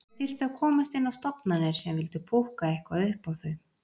Þau þyrftu að komast inn á stofnanir sem vildu púkka eitthvað upp á þau.